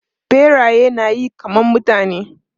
Biraye na yi kaman mutane.